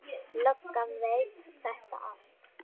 Löggan veit þetta allt.